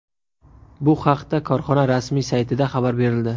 Bu haqda korxona rasmiy saytida xabar berildi .